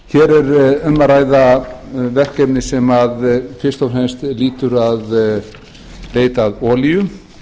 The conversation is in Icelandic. er um að ræða verkefni sem fyrst fremst lýtur að leit að olíu